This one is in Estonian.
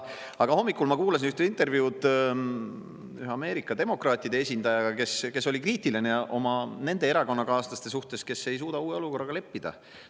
Aga hommikul ma kuulasin ühte intervjuud ühe Ameerika demokraatide esindajaga, kes oli kriitiline nende oma erakonnakaaslaste suhtes, kes ei suuda uue olukorraga leppida.